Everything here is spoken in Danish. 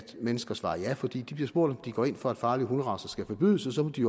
mennesker svarer ja for de bliver spurgt om de går ind for at farlige hunderacer skal forbydes og så må de